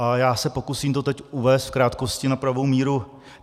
A já se pokusím to teď uvést v krátkosti na pravou míru.